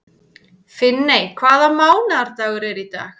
Finney, hvaða mánaðardagur er í dag?